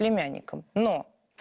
племянникам но